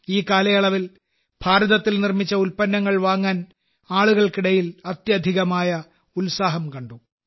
ഈ കാലയളവിൽ ഭാരതത്തിൽ നിർമ്മിച്ച ഉൽപ്പന്നങ്ങൾ വാങ്ങാൻ ആളുകൾക്കിടയിൽ അത്യധികമായ ഉത്സാഹം കണ്ടു